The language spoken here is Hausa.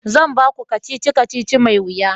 zan baku kacici-kacici mai wuya